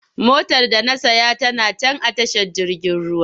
Motar da na saya tana can a tashar jirgin ruwa.